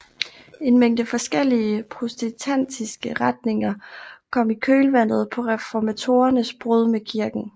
En mængde forskellige protestantiske retninger kom i kølvandet på reformatorernes brud med kirken